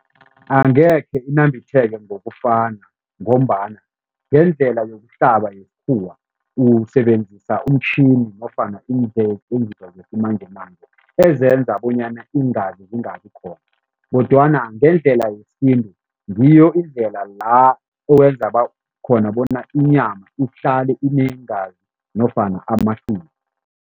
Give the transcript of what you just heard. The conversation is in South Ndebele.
Angekhe inambitheke ngokufana ngombana ngendlela yokuhlaba yesikhuwa usebenzisa umtjhini nofana zesimanjemanje ezenza bonyana iingazi zingabi khona kodwana ngendlela yesintu, ngiyo indlela la owenza khona bona inyama ihlale ineengazi nofana amahlwili.